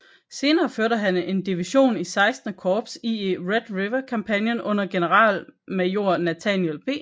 Senere førte han en division i XVI Korps ie Red River Kampagnen under generalmajor Nathaniel P